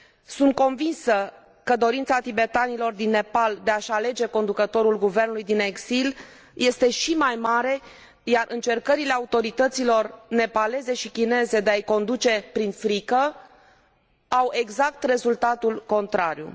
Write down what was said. Sunt convinsă că dorința tibetanilor din Nepal de a și alege conducătorul guvernului în exil este și mai mare, iar încercările autorităților nepaleze și chineze de a i conduce prin frică au exact rezultatul contrariu.